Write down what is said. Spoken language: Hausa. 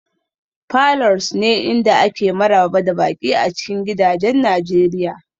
falors ne inda ake maraba da baƙi a cikin gidajen nigeria